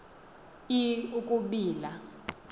i i ukubila